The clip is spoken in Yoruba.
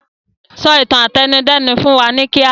Sọ ìtàn àtẹnudẹ́nu fún wa ní kíá!